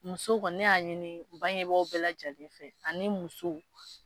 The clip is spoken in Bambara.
Muso kɔni ne y'a ɲini n bangebagaw bɛɛ lajɛlen fɛ ani muso